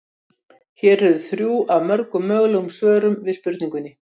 Hér eru þrjú af mörgum mögulegum svörum við spurningunni.